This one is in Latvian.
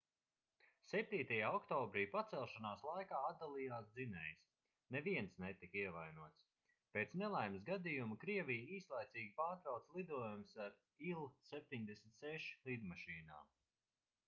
7. oktobrī pacelšanās laikā atdalījās dzinējs neviens netika ievainots pēc nelaimes gadījuma krievija īslaicīgi pārtrauca lidojumus ar ii-76 lidmašīnām